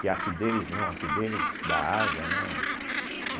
Que é a acidez, não acidez da água, né?